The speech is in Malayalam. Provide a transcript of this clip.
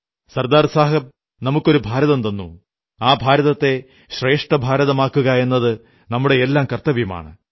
സർദാർ സാഹബ് നമുക്കൊരു ഭാരതം തന്നു ആ ഭാരതത്തെ ശ്രേഷ്ഠഭാരതമാക്കുകയെന്നത് നമ്മുടെയെല്ലാം കർത്തവ്യമാണ്